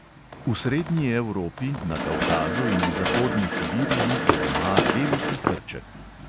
V srednji evropi, na kavkazu in v zahodni sibiriji je doma veliki hrček.